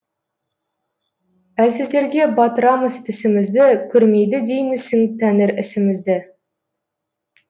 әлсіздерге батырамыз тісімізді көрмейді деймісің тәңір ісімізді